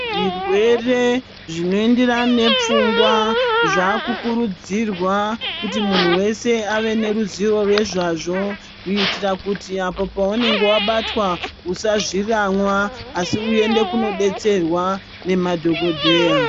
Zvirwere zvinoenderana nepfungwa zvakukurudzirwa kuti munhu wese ave neruzivo rwezvazvo kuitira apo paunenge wabatwa usazviramwa asi uende kunodetserwa nemadhokodheya.